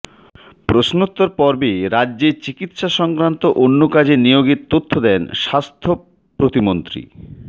প্রশ্নোত্তর পর্বে রাজ্যে চিকিৎসা সংক্রান্ত অন্য কাজে নিয়োগের তথ্য দেন স্বাস্থ্য প্রতিমন্ত্রী